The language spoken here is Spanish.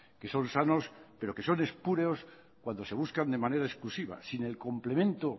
que son sanos pero que son espurios cuando se buscan de manera exclusiva sin el complemento